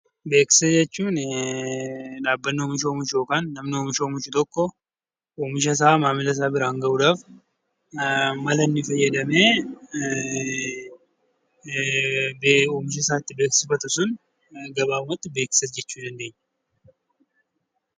Beeksisa jechuun dhaabbanni oomisha oomishu yookaan namni oomisha oomishu tokko, oomisha isaa maamila isaa biraan gahuuf mala inni fayyadamee oomisha isaa beeksifatu sun, beeksisa jechuu dandeenya.